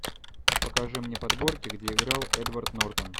покажи мне подборки где играл эдвард нортон